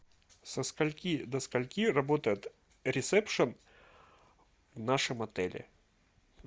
со скольки до скольки работает ресепшн в нашем отеле